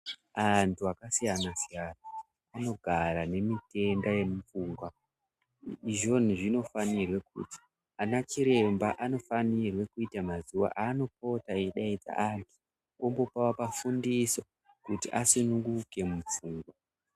Antu akasiyana siyana anogara nemitenda yemupfungwa izvoni zvinofanira kuti ana chiremba anofanira kuita mazuva anopota eidaidzira antu ambovafundisa kuti asununguke mupfungwa.